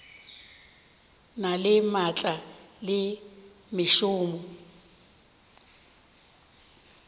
na le maatla le mešomo